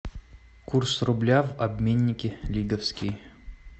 курс рубля в обменнике лиговский